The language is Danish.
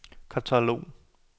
katalog